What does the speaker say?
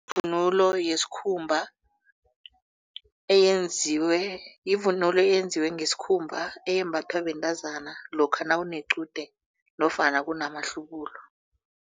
Ivunulo yesikhumba eyenziwe yivunulo eyenziwe ngesikhumba eyembathwa bentazana lokha nawunequde nofana amahlubulo.